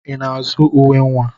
I na-azụ uwe nwa?